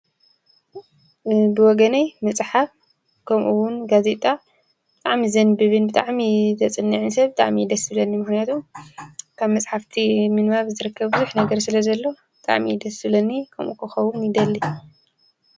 ብወገነይ መፅሓፍ ከምኡውን ጋዜጣ ብጣዕሚ ዘንብብን ብጣዕሚ ዘፅንዕን ሰብ ብጣዕሚ ደስ ይብለኒ። ምክንያቱ ካብ መፅሓፍቲ ምንባብ ብዙሕ ነገር ዝርከብ ስለዘሎ ብጣዕሚ እዩ ደስ ዝብለኒ ከምኡ ክከውን እውን ይደሊ፡፡